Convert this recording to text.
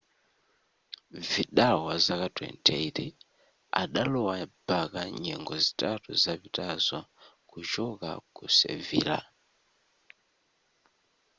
vidal wazaka 28 adalowa barca nyengo zitatu zapitazo kuchoka ku sevilla